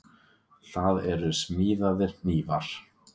Það eru smíðaðir hnífar.